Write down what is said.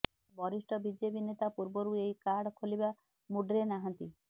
ହେଲେ ବରିଷ୍ଠ ବିଜେପି ନେତା ପୂର୍ବରୁ ଏହି କାର୍ଡ ଖୋଲିବା ମୁଡ୍ରେ ନାହାଁନ୍ତି